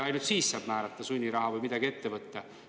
Ainult siis saab määrata sunniraha või midagi muud ette võtta.